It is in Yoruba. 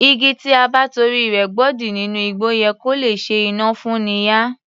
Igi tí a bá torí rẹ̀ gbodì nínú igbó yẹ kó lè ṣe iná fún'ni yá